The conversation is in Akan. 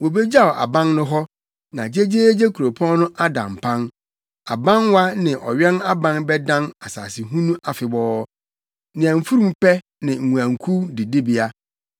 Wobegyaw aban no hɔ, na gyegyeegye kuropɔn no ada mpan; abanwa ne ɔwɛn aban bɛdan asasehunu afebɔɔ, nea mfurum pɛ ne nguankuw didibea,